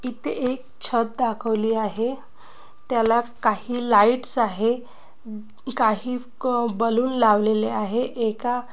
इथे एक छत दाखवली आहे. त्याला काही लाईट्स आहे. काही क बलून लावलेले आहे. एका--